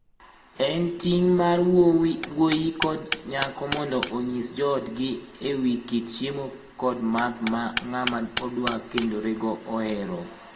En ting mar wuoyi kod nyako mondo onyis joodgi e wii kit chiemo kod math ma ng'ama odwa kendorego ohero.